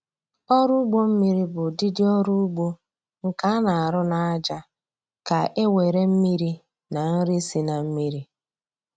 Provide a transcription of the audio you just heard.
Ọrụ ugbo mmiri bụ ụdịdị ọrụ ugbo nke a na-arụ n'aja ka e were mmiri na nri si na mmiri